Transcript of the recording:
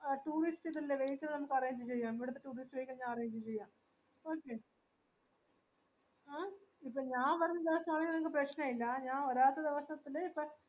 two weeks arrange ചെയാ two weeks തന്നെ arrange ചെയാം okay ഏഹ് ഇപ്പൊ ഞാൻ പറീന്നെ എന്താച്ചാൽ നിങ്ങക്ക് പ്രേഷനുല്ല ഞാൻ ഒരാക്ക് ദെവസത്തിൽ